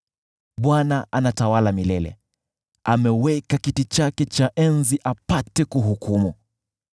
Bwana anatawala milele, ameweka kiti chake cha enzi apate kuhukumu.